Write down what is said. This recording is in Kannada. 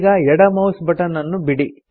ಈಗ ಎಡ ಮೌಸ್ ಬಟನ್ ಅನ್ನು ಬಿಡಿ